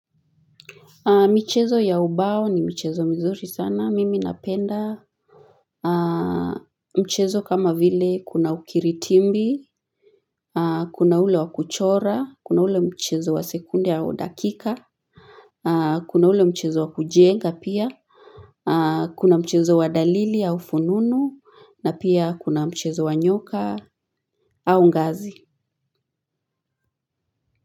Michezo ya ubao ni michezo mzuri sana. Mimi napenda mchezo kama vile kuna ukiritimbi, kuna ule wa kuchora, kuna ule mchezo wa sekunde au dakika, kuna ule mchezo wa kujenga pia, kuna mchezo wa dalili au fununu, na pia kuna mchezo wa nyoka au ngazi.